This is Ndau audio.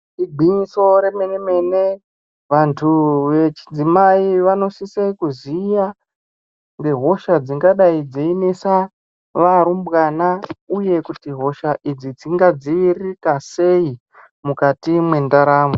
Igwinyiso remene mene vantu vechidzimai vanosise kuziya ngehosha dzingadai dzeinesa varumbwana uye kuti hosha idzi dzingadziviririka sei mukati mwendaramo.